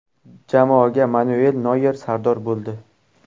Jamoaga Manuel Noyer sardor bo‘ldi.